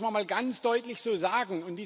Das muss man mal ganz deutlich so sagen.